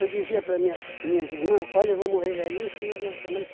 Eu dizia para minha minhas irmã, olha, eu vou morrer velhinho em cima de uma cama. Ela disse